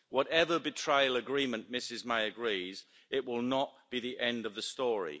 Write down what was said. Whatever betrayal agreement Ms May agrees, it will not be the end of the story.